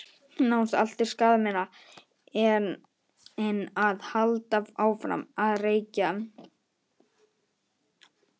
Nánast allt er skaðminna en að halda áfram að reykja.